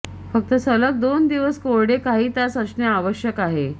फक्त सलग दोन दिवस कोरडे काही तास असणे आवश्यक आहे